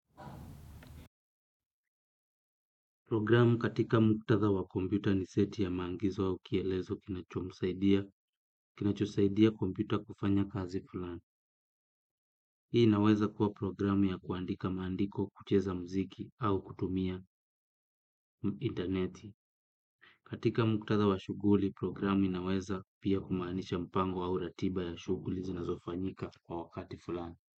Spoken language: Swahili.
Programu katika mkutadha wa kompyuta ni seti ya maagizo au kielezo kinachomsaidia, kinachosaidia kompyuta kufanya kazi fulani. Hii inaweza kuwa programu ya kuandika maandiko kucheza muziki au kutumia intaneti. Katika mkutadha wa shughuli programu inaweza pia kumaanisha mpango au ratiba ya shughuli zinazofanyika kwa wakati fulani.